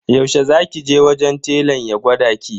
Yaushe za ki je wajen telan ya gwada ki?